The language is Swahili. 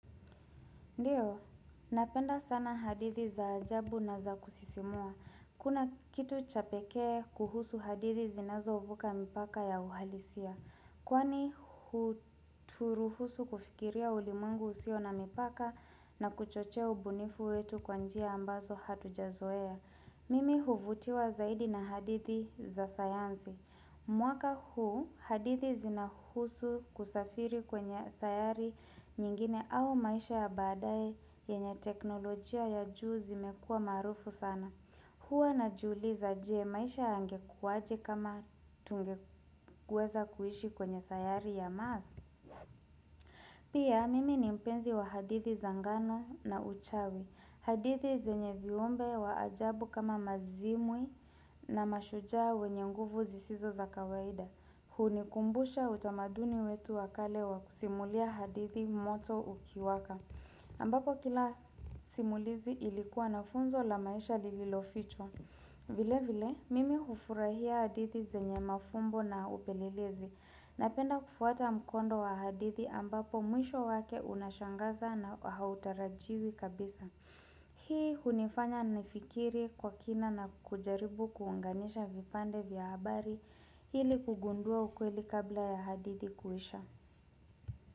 Ndiyo, napenda sana hadithi za ajabu na za kusisimua. Kuna kitu cha pekee kuhusu hadithi zinazovuka mipaka ya uhalisia. Kwani huruhusu kufikiria ulimwengu usio na mipaka na kuchochea ubunifu wetu kwa njia ambazo hatujazoea. Mimi huvutiwa zaidi na hadithi za sayanzi. Mwaka huu hadithi zinahusu kusafiri kwenye sayari nyingine au maisha ya baadaye yenye teknolojia ya juu zimekua maarufu sana. Hua najiuliza je maisha yangekuwaje kama tungeweza kuishi kwenye sayari ya mass. Pia mimi ni mpenzi wa hadithi za ngano na uchawi. Hadithi zenye viumbe wa ajabu kama mazimwi na mashujaa wenye nguvu sisizo za kawaida. Hunikumbusha utamaduni wetu wa kale wa kusimulia hadithi moto ukiwaka ambapo kila simulizi ilikuwa na funzo la maisha lililofichwa vile vile, mimi hufurahia hadithi zenye mafumbo na upelelezi Napenda kufuata mkondo wa hadithi ambapo mwisho wake unashangaza na hautarajiwi kabisa Hii hunifanya nifikiri kwa kina na kujaribu kuunganisha vipande vya habari ili kugundua ukweli kabla ya hadidi kuisha.